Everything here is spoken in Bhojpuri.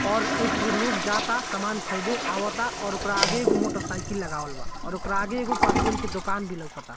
और इप लोग जाता समान खरीदे आवता और ओकरा आगे एगो मोटर साइकिल लगावल बा और ओकरा आगे एगो के दुकान भी लोकाता।